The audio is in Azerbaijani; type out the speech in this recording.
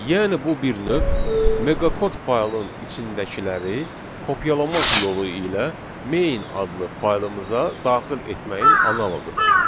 Yəni bu bir növ Meqakod faylın içindəkiləri kopyalamaq yolu ilə Main adlı faylımıza daxil etməyin analoqudur.